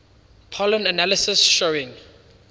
pollen analysis showing